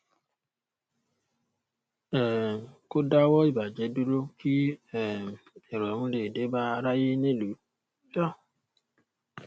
um kó dáwọ ìbàjẹ dúró kí um irọrùn lè dé bá aráyé nílùú um